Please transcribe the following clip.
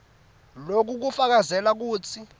loku kufakazela kutsi